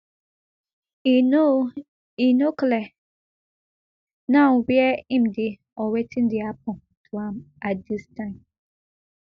e no e no clear now wia im dey or wetn dey happun to am at dis time